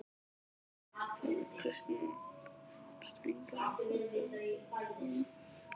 Heimild: Kristjana Steingrímsdóttir og Þórunn Pálsdóttir.